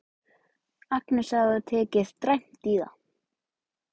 Agnes sagði að þú hefðir tekið dræmt í það.